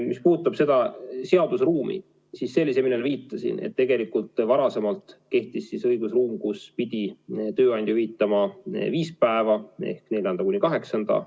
Mis puudutab seda seaduseruumi, siis ma viitasin sellele, et tegelikult varasemalt kehtis õigusruum, kus pidi tööandja hüvitama viis päeva ehk neljandast kuni kaheksandani.